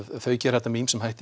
þau gera þetta með ýmsum hætti